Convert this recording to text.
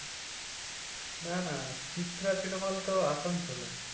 না না Chitra cinema hall তো আসানসোলে।